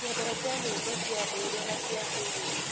Nyendete nyĩmbo cia ndũire na cia kĩrĩu.